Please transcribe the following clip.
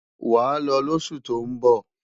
Wàá lọ lósù tó ń bọ̀!